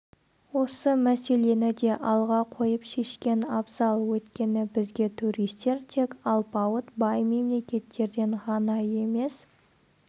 осы мәселені де алға қойып шешкен абзал өйткені бізге туристер тек алпауыт бай мемлекеттерден ғана емес